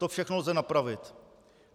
To všechno lze napravit.